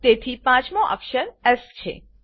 તેથી 5 મો અક્ષર એસ છે